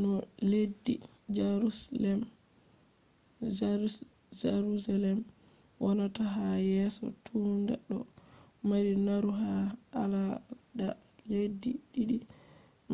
no leddi jaruselem wonata ha yeso tunda ɗo mari naru ha alada leddi ɗiɗi